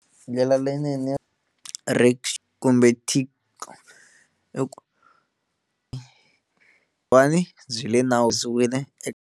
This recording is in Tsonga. Ndlela leyinene rickshaw kumbe i ku va ni byi le .